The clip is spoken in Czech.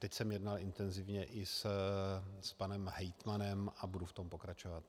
Teď jsem jednal intenzivně i s panem hejtmanem a budu v tom pokračovat.